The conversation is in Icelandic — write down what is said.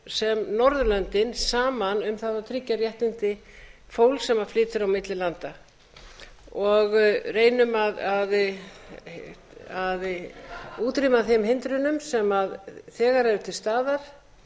sem norðurlöndin saman um það að tryggja réttindi fólks sem flytur á milli landa og reynum að útrýma þeim hindrunum sem þegar eru til staðar